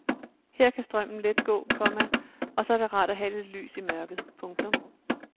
Her kan strømmen let gå, komma og så er det rart at have lidt lys i mørket. punktum